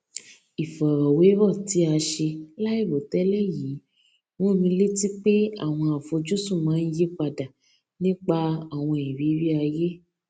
ìfòròwérò tí a ṣe láìròtélè yìí rán mi létí pé àwọn afojusun máa n yi pada nipa awon iriri aye